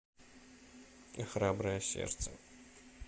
храброе сердце